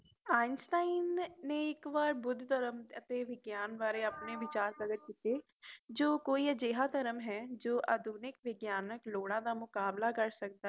Einstein ਨੇ ਇਕ ਵਾਰ ਬੁੱਧ ਧਰਮ ਅਤੇ ਵਿਗਿਆਨ ਵਾਰੇ ਆਪਣੇ ਵਿਚਾਰ ਪ੍ਰਗਟ ਕੀਤੇ ਕੋਈ ਕੋਈ ਅਜੇ ਧਰਮ ਹੈ ਆਧੁਨਿਕ ਵਿਗਿਆਨੀਕ ਲੋੜ ਦਾ ਮੁਕਾਬਲਾ ਕਰ ਸਕਦਾ ਹੈ